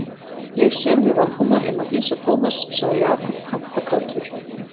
Ég sem við Valdimar um að hýsa Thomas sagði Jakob kampakátur.